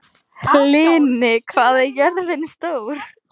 Hlini, hvað er jörðin stór?